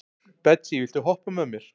Betsý, viltu hoppa með mér?